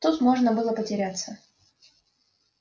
тут можно было потеряться